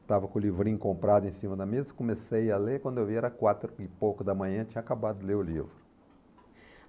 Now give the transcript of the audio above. estava com o livrinho comprado em cima da mesa, comecei a ler, quando eu vi era quatro e pouco da manhã, tinha acabado de ler o livro.